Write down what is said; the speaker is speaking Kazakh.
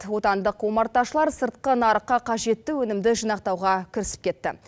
отандық омарташылар сыртқы нарыққа қажетті өнімді жинақтауға кірісіп кетті